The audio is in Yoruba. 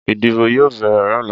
Ìdìbò yóò béèrè lọ́la